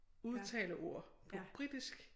Udtale ord på britisk